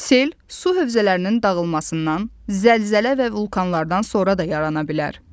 Sel su hövzələrinin dağılmasından, zəlzələ və vulkanlardan sonra da yarana bilər.